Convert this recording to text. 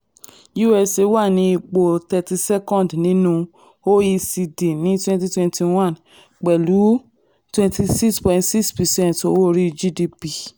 usa wà ní ipò thirty seccond nínú oecd ní twenty twenty one pẹ̀lú ní pẹ̀lú twenty six point six percent owó orí gdp